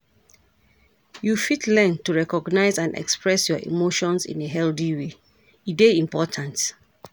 You fit learn to recognize and express your emotions in a healthy way, e dey important.